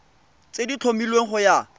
tse di tlhomilweng go ya